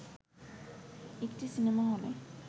একটি সিনেমা হলে